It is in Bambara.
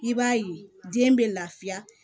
I b'a ye den bɛ lafiya